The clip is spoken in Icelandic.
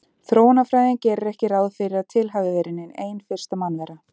Þróunarfræðin gerir ekki ráð fyrir að til hafi verið nein ein fyrsta mannvera